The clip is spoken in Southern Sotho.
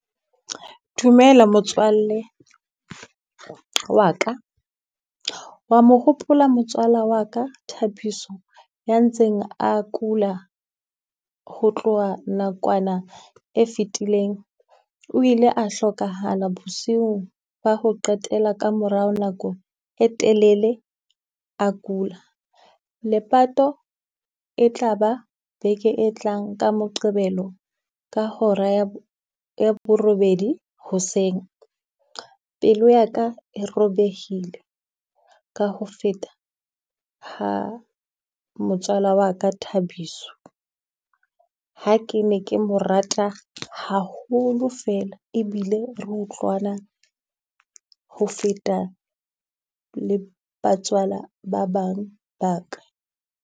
Dumela motswalle wa ka, wa mo hopola motswala wa ka Thapiso ya ntseng a kula ho tloha nakwana e fetileng? O ile a hlokahala bosiu ba ho qetela ka morao nako e telele a kula. Lepato e tla ba beke e tlang ka Moqebelo ka hora ya ya borobedi hoseng. Pelo ya ka e robehile ka ho feta ha motswala wa ka Thabiso. Ha ke ne ke mo rata haholo fela e bile re utlwana ho feta le batswala ba bang ba ka.